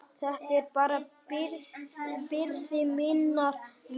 Þetta er bara byrði minnar vinnu.